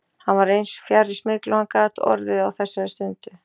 Hann var eins fjarri smygli og hann gat orðið á þessari stundu.